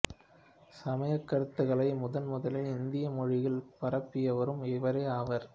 சமயக் கருத்துகளை முதன் முதலில் இந்தி மொழியில் பரப்பியவரும் இவரே ஆவார்